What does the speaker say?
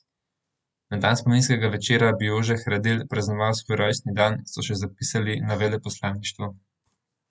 Na dan spominskega večera bi Jože Hradil praznoval svoj rojstni dan, so še zapisali na veleposlaništvu.